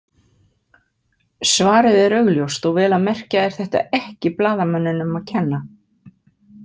Svarið er augljóst og vel að merkja er þetta ekki blaðamönnunum að kenna.